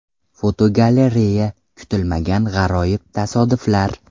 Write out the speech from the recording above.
Fotogalereya: Kutilmagan g‘aroyib tasodiflar.